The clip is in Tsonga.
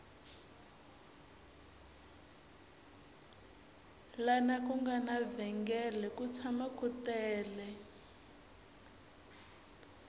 lana ku nga na vhengele ku tshama ku tele